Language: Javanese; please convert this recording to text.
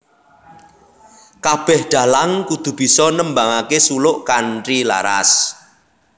Kabeh dalang kudu bisa nembangake suluk kanthi laras